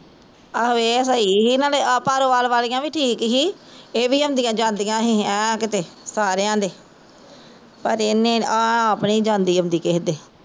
ਆਹੋ ਏਹ ਸਹੀ ਸੀ ਏਹਨਾ ਦੇ ਭਰੋਵਾਲ ਵਾਲੀਆ ਵੀ ਠੀਕ ਸੀ ਏਹ ਵੀ ਆਉਂਦੀਆ ਜਾਂਦੀਆ ਸੀ ਐ ਕਿਤੇ ਸਾਰਿਆ ਦੇ ਪਰ ਇਹਨੇ ਏਹ ਆਪ ਨੀ ਆਉਂਦੀ ਜਾਂਦੀ ਕਿਸੇ ਦੇ